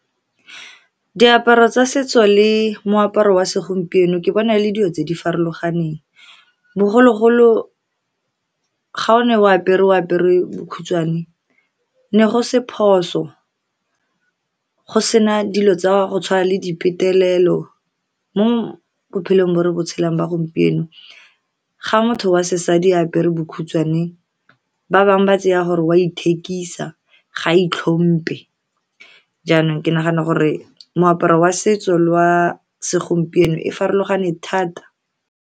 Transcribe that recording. Diaparo tsa setso le moaparo wa segompieno, ke bona e le dilo tse di farologaneng. Bogologolo, ga o ne o apere bokhutshwane, ne go se phoso, go sena dilo tsa go tshwana le di petelelo. Mo bophelong bo re botshelong ba gompieno, ga motho wa sesadi a apere bokhutshwane, ba bangwe ba tšea gore o a ithekisa, kgotsa ga a itlhomphe. Jaanong, ke nagana gore moaparo wa setso le wa segompieno e farologane thata.